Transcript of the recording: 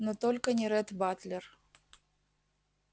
но только не ретт батлер